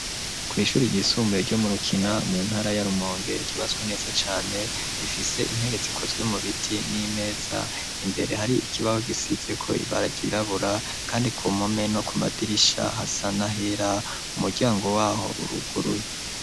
Kw'ishuri ryisumbuye ryo murukina mu ntara y'arumongere gibaswe neza cane rifise intege zikozwe mu biti n'imeza imbere hari ikibahe gisizeko ibara ryirabura, kandi ku mome no ku madirisha hasa na hera umuryango waho uruguru.